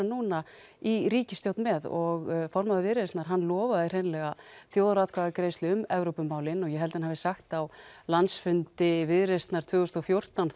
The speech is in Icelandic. núna í ríkisstjórn með og formaður Viðreisnar hann lofaði hreinlega þjóðaratkvæðisgreiðslu um Evrópumálin og ég held hann hafi sagt á landsfundi Viðreisnar tvö þúsund og fjórtán